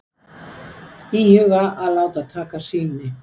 Íhuga að láta taka sýni